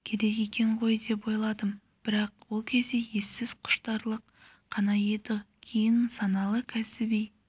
керек екен ғой деп ойладым бірақ ол кезде ессіз құштарлық қана еді кейін саналы кәсіби